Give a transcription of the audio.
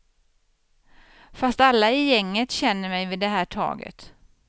Fast alla i gänget känner mej vid det här taget.